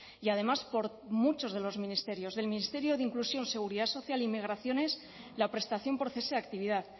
y además por muchos de los ministerios del ministerio de inclusión seguridad social y migraciones la prestación por cese de actividad